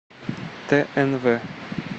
тнв